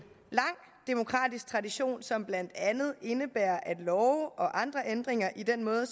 lang demokratisk tradition som blandt andet indebærer at love og andre ændringer i den måde